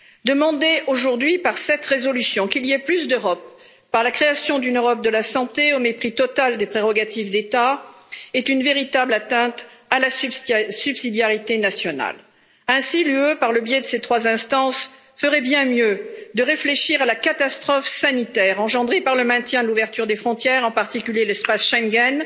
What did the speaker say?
Demander aujourd'hui par cette résolution qu'il y ait plus d'Europe, à travers la création d'une Europe de la santé, au mépris total des prérogatives d'État est une véritable atteinte à la subsidiarité nationale. Ainsi l'UE, par le biais de ses trois instances, ferait bien mieux de réfléchir à la catastrophe sanitaire engendrée par le maintien de l'ouverture des frontières, en particulier l'espace Schengen.